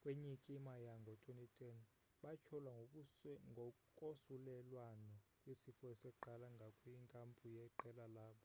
kwenyikima yango-2010 batyholwa ngokosulelwano kwesifo esaqala ngakwinkampu yeqela labo